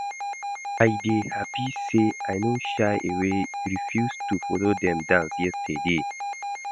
I dey happy say I no shy away refuse to follow dem dance yesterday